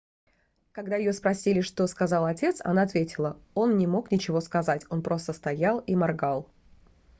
когда её спросили что сказал отец она ответила он не мог ничего сказать он просто стоял и моргал